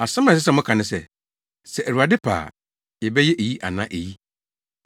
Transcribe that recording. Asɛm a ɛsɛ sɛ moka ne se, “Sɛ Awurade pɛ a, yɛbɛyɛ eyi anaa eyi.”